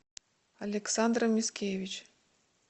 александра мискевич